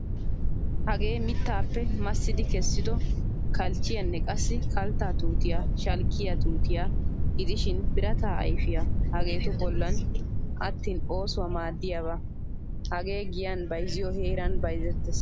Hagee mittappe masidi keesido kalchchiyaanne qassi kaltta tuutiyaa shalkkiyaa tuutiya gidishin birata ayfiyaa hagettu bollan aattin oosuwaa maadiyaba. Hagee giyan bayziyo heeran bayzzetees.